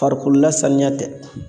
Farikolo la saniya tɛ